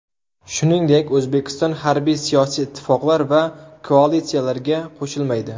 Shuningdek, O‘zbekiston harbiy-siyosiy ittifoqlar va koalitsiyalarga qo‘shilmaydi.